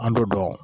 An bɛ dɔn